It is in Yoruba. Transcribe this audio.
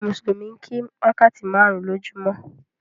Àwọn mùsùlùmí ń kí wákàtí márùn-ún lójúmọ́.